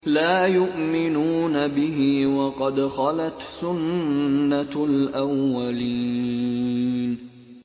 لَا يُؤْمِنُونَ بِهِ ۖ وَقَدْ خَلَتْ سُنَّةُ الْأَوَّلِينَ